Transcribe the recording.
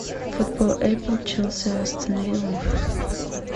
футбол апл челси астон вилла